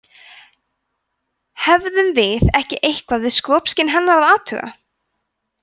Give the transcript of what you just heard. hefðum við ekki eitthvað við skopskyn hennar að athuga